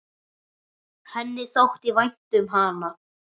Henni þótti vænt um hana.